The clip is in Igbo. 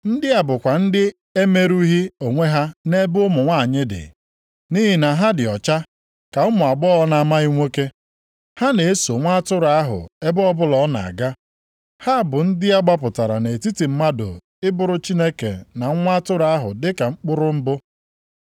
Ndị a bụkwa ndị na-emerụghị onwe ha nʼebe ụmụ nwanyị dị, nʼihi na ha dị ọcha ka ụmụ agbọghọ na-amaghị nwoke. Ha na-eso Nwa Atụrụ ahụ ebe ọbụla ọ na-aga. Ha bụ ndị a gbapụtara nʼetiti mmadụ ịbụrụ Chineke na Nwa Atụrụ ahụ dịka mkpụrụ mbụ.